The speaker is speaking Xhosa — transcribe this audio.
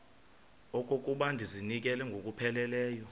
okokuba ndizinikele ngokupheleleyo